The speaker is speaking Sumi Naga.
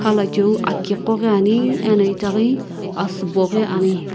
khala cheo aki ko ghi ane ano asii bo ko ghi ane.